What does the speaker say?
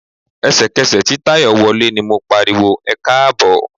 Ẹ̀sẹ̀kẹsẹ̀ tí Táyọ̀ wọlé ni mo pariwo "ẹkáàbọ̀".